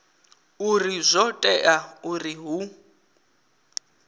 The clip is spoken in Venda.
uri zwo tea uri hu